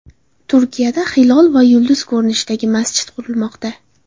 Turkiyada hilol va yulduz ko‘rinishida masjid qurilmoqda .